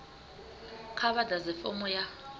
kha vha ḓadze fomo ya